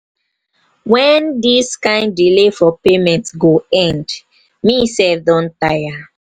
wen dis kin delay for payment go end. me sef don tire.